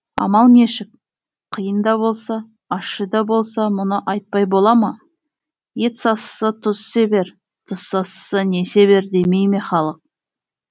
амал нешік киын да болса ащы да болса мұны айтпай бола ма ет сасыса тұз себер тұз сасыса не себер демей ме халық